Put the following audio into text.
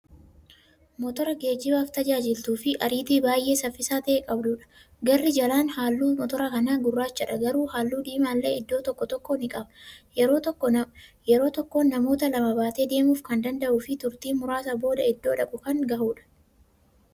Motora geejjibaaf tajaajiltuufi ariitii baay'ee saffisaa ta'e qabduudha. garri caalaan halluu motora kanaa gurrachadha, garuu halluu diimaallee iddoo tokko tokkoo ni qaba. yeroo tokkoon namoota lama baatee deemuuf Kan danda'ufi turtiin muraasa booda iddoo dhaqu Kan gahuudha.